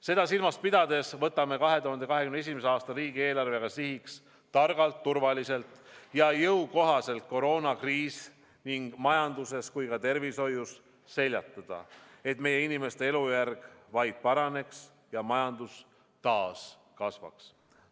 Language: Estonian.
Seda silmas pidades võtame 2021. aasta riigieelarvega sihiks targalt, turvaliselt ja jõukohaselt koroonakriis nii majanduses kui ka tervishoius seljatada, et meie inimeste elujärg vaid paraneks ja majandus taas kasvaks.